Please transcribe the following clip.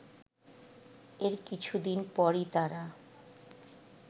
এর কিছুদিন পরই তারা